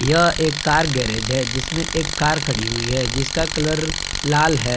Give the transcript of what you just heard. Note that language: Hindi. यह एक कार गैरेज है जिसमें एक कार खड़ी हुई है जिसका कलर लाल है।